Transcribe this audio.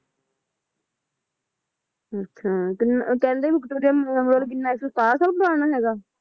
ਅੱਛਾ ਕਹਿੰਦੇ ਕੀ ਵਿਕਟੋਰੀਆ ਮੈਮੋਰੀਅਲ ਕਿੰਨਾ ਇੱਕ ਸੌ ਸਤਾਰਾਂ ਸਾਲ ਪੁਰਾਣਾ ਹੈਗਾ